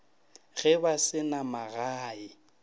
ge ba se na magae